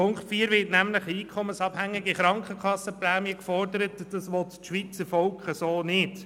Im Punkt 4 wird nämlich eine einkommensabhängige Krankenkassenprämie gefordert, und das will das Schweizer Volk so nicht.